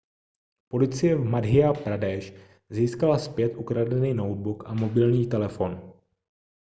policie v madhya pradesh získala zpět ukradený notebook a mobilní telefon